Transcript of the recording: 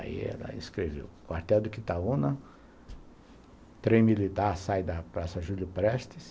Aí ela escreveu, quartel de Quitaúna, trem militar sai da praça Júlio Prestes,